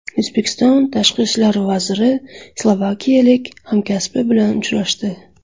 O‘zbekiston Tashqi ishlar vaziri slovakiyalik hamkasbi bilan uchrashdi.